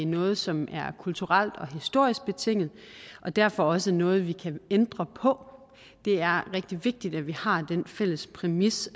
noget som er kulturelt og historisk betinget og derfor også noget vi kan ændre på det er rigtig vigtigt at vi har den fælles præmis